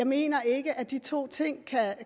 mener ikke at de to ting